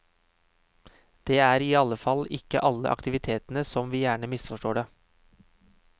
Det er iallfall ikke alle aktivitetene som vi gjerne misforstår det.